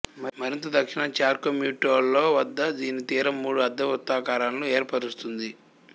మరింత దక్షిణాన చార్కో మ్యుర్టోలో వద్ద దీని తీరం మూడు అర్ధ వృత్తాకారాలను ఏర్పరుస్తుంది